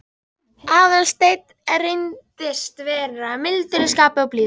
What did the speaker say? Aðalsteinn reyndist vera mildur í skapi og blíður.